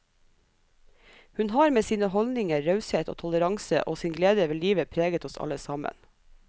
Hun har med sine holdninger, raushet og toleranse og sin glede ved livet preget oss alle sammen.